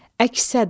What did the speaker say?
Əks-səda.